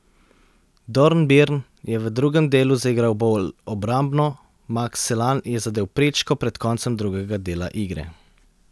Dornbirn je v drugem delu zaigral bolj obrambno, Maks Selan je zadel prečko pred koncem drugega dela igre.